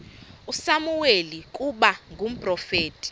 usamuweli ukuba ngumprofeti